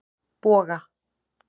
Boga